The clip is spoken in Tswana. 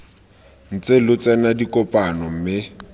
ntse lo tsena dikopano mme